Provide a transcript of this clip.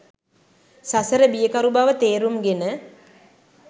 සසර බියකරු බව තේරුම්ගෙන